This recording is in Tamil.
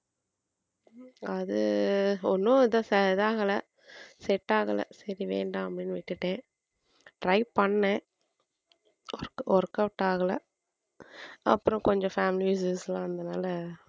அது ஒண்ணும் இதா~ ச~ இதாகல set ஆகலை சரி வேண்டாம் அப்படின்னு விட்டுட்டேன் Try பண்ணேன் work workout ஆகலை அப்புறம் கொஞ்சம் family issues எல்லாம் இருந்ததுனால